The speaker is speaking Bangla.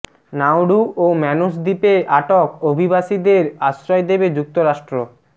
নাউরু ও ম্যানুস দ্বীপে আটক অভিবাসীদের আশ্রয় দেবে যুক্তরাষ্ট্র